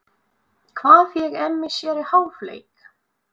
Hvað fékk Emmi sér í hálfleik?